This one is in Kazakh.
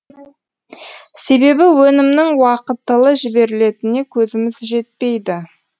себебі өнімнің уақытылы жіберілетіне көзіміз жетпейді